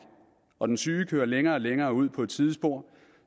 og den syge kører længere og længere ud på et sidespor